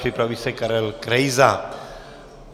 Připraví se Karel Krejza.